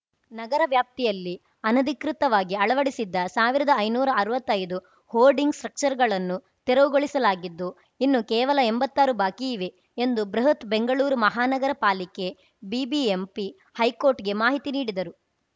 ನಗರ ವ್ಯಾಪ್ತಿಯಲ್ಲಿ ಅನಧಿಕೃತವಾಗಿ ಅಳವಡಿಸಿದ್ದ ಸಾವಿರದಐನೂರಾ ಅರ್ವತ್ತೈದು ಹೋರ್ಡಿಂಗ್‌ ಸ್ಟ್ರಕ್ಚರ್‌ಗಳನ್ನು ತೆರವುಗೊಳಿಸಲಾಗಿದ್ದು ಇನ್ನು ಕೇವಲ ಎಂಭತ್ತಾರು ಬಾಕಿಯಿವೆ ಎಂದು ಬೃಹತ್‌ ಬೆಂಗಳೂರು ಮಹಾನಗರ ಪಾಲಿಕೆ ಬಿಬಿಎಂಪಿ ಹೈಕೋರ್ಟ್‌ಗೆ ಮಾಹಿತಿ ನೀಡಿದರು